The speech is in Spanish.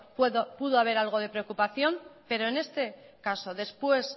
pudo haber algo de preocupación pero en este caso después